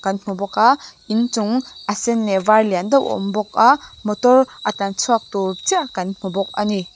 hmu bawk a inchung a sen leh a var lian deuh awm bawka motor a tlanchhuak tur chiah kan hmu bawk ani.